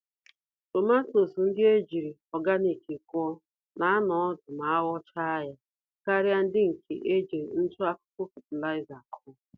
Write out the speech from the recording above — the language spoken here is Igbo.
Tomatoes ndị ejírí nri ọganik kụọ, na anọ ọdụ ma aghọchaa ha, karịa ndị nke ejiri ntụ-akụkụ fertilizer kụọ.